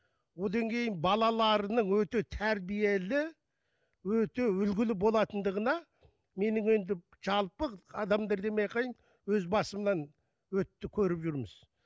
одан кейін балаларының өте тәрбиелі өте үлгілі болатындығына менің енді жалпы адамдар демей ақ қояйын өз басымнан өтті көріп жүрміз